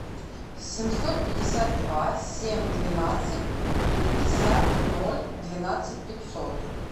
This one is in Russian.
семьсот пятьдесят два семь двенадцать пятьдесят ноль двенадцать пятьсот